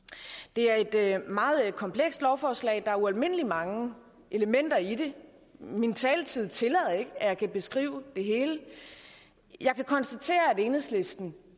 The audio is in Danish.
det er et meget komplekst lovforslag der er ualmindelig mange elementer i det min taletid tillader ikke at jeg kan beskrive det hele jeg kan konstatere at enhedslisten